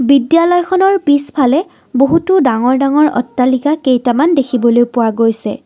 বিদ্যালয়খনৰ পিছফালে বহুতো ডাঙৰ ডাঙৰ অট্টালিকা কেইটামান দেখিবলৈ পোৱা গৈছে।